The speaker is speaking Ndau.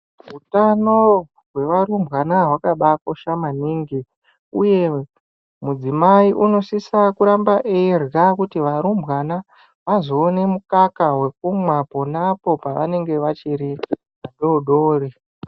Hutano hwevarumbwana hwakaba kosha maningi uye mudzimai unosvitsa kuramba eyidya kuti varumbwana vazoone mukaka wekumwa ponapo pavanenge vachiri vadodori .